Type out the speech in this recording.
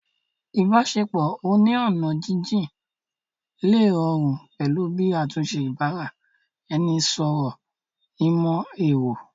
Ìbáṣepọ̀ oní ọ̀nà jínjín lè rọrùn pẹ̀lú bí àtúnṣe ìbára-ẹni-sọ̀rọ̀ ìmọ̀ ẹ̀rọ